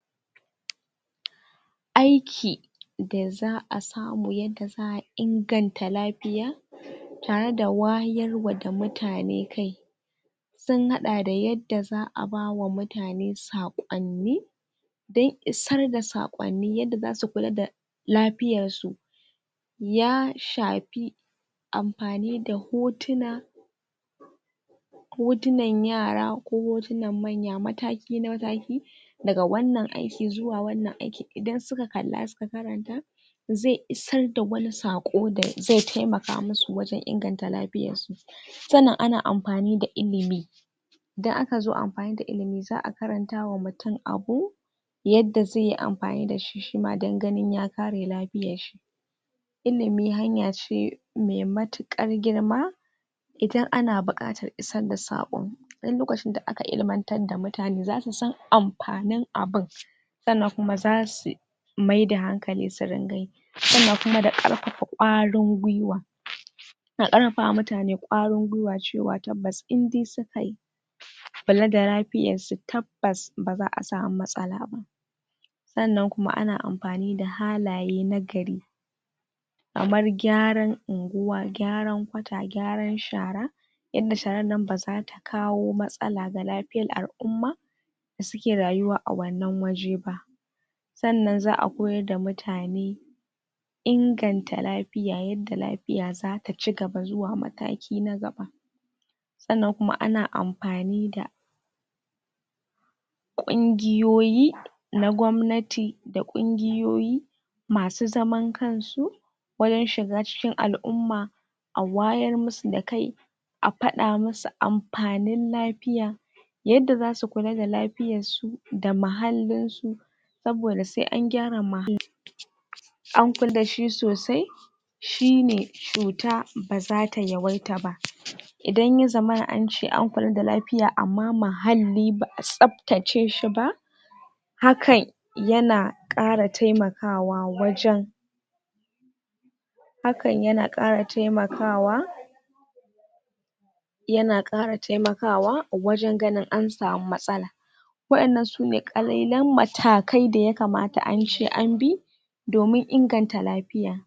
aiki da za'a samu yanda za'a inganta lafiya tareda wayarwa da mutane kai sun haɗa da yadda za'a bawa mutane saƙonni don isar da saƙonni yadda zasu kula da lafiyar su ya shafi amfani da hotuna hotunan yara ko hotunan manya mataki mataki daga wannan aiki zuwa wannan aiki idan suka kalla suka karanta zai isar da wani saƙo da zai taimaka musu wajen inganta lafiyar su sannan ana amfani da ilimi idan akazo amfani da ilimi za'a karantawa mutum abu yadda zaiyi amfani dashi shima dan ganin ya kare lafiyar shi ilimi hanya ce mai matuƙar girma idan ana buƙatar isar da saƙo duk lokacin da aka ilmantar da mutane zasu san amfanin abun sannan kuma zasu maida hankali su ringa yi sannan kuma da ƙarfafa ƙwarin gwiwa da ƙarfafa wa mutane ƙwarin gwiwa cewa tabbas indai sukayi kula da lafiyar su tabbas baza'a samu matsala ba sannan kuma ana amfani da halaye nagari kamar gyaran unguwa gyaran kwata gyaran shara yadda sharan nan bazata kawo matsala ga lafiyar al'umma da suke rayuwa a wannan waje ba sannan za'a koyar da mutane inganta lafiya yadda lafiya zata ci gaba zuwa mataki na gaba sannan kuma ana amfani da kungiyoyi na gwamnati da kungiyoyi masu zaman kansu wajen shiga cikin al'umma a wayar musu da kai a faɗa masu amfanin lafiya yadda zasu kula da lafiyar su da mahallin su saboda sai an gyara mahalli an kula dashi sosai shine cuta bazata yawaita ba idan ya zamana ance an kula da lafiya amma mahalli ba'a tsaftace shi ba hakan yana ƙara taimakawa wajen hakan yana ƙara taimakawa yana ƙara taimakawa wajen ganin an samu matsala wa'innan sune ƙalilan matakai da yakamata ance anbi domin inganta lafiya.